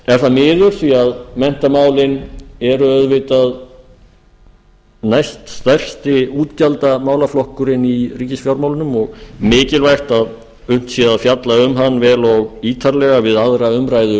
er það miður því að menntamálin eru auðvitað næststærsti útgjaldamálaflokkurinn í ríkisfjármálunum og mikilvægt að unnt sé að fjalla um hann vel og ítarlega við aðra umræðu